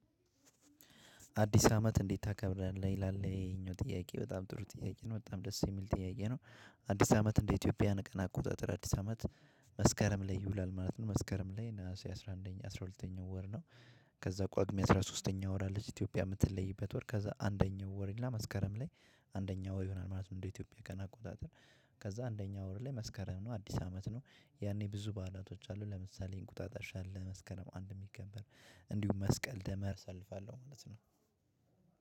አዲስ አመት እንዴት ታከብራለህ ይላል ይሄኛው ጥያቄ በጣም ጥሩ ጥያቄ ነው በጣም ደስ የሚል ጥያዬ ነው። አዲስ አመት እንደ ኢትዮጵያውያን ቀን አቆጣጠር አዲስ አመት። መስከረም ላይ ይውላል ማለት ነው መስከረም ላይ ነሀሴ አስራ አንደኛ አስራ ሁለተኛ ወር ነው። ከዛ ቋግሜ አስራ ሶስተኛ ወር አለች ኢትዮጵያ የምትለይበት ወር ከዛ አንደኛ ወር ይልና መስከረም ላይ አንደኛ ወር ይሆናል ማለት ነው። እንደ ኢትዮጵያ ቀን አቆጣጠር። ከዛ አንደኛው ወር ላይ መስከረም ነው አዲስ አመት ነው። ያኔ ብዙ በዓላቶች አሉ ለምሳሌ እንቁጣጣሽ አለ መስከረም አንድ የሚከበር እንዲሁም መስቀል ደመር ሰልፋለሁ ማለት ነው።